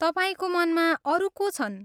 तपाईँको मनमा अरू को छन्?